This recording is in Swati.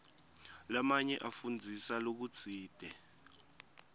lamanye afundzisa lokutsite